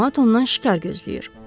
Camaat ondan şikar gözləyir.